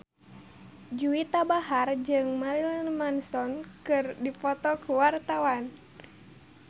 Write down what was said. Juwita Bahar jeung Marilyn Manson keur dipoto ku wartawan